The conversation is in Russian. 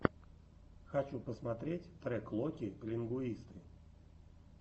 хочу посмотреть трек локи лингуисты